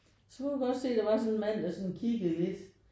Så kunne jeg godt se at der var sådan en mand der sådan kiggede lidt